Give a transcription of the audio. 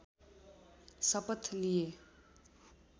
शपथ लिए